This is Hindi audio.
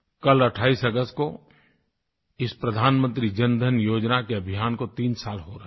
कल 28 अगस्त को इस प्रधानमंत्री जनधन योजना के अभियान को तीन साल हो रहे हैं